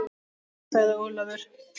Nei sagði Ólafur.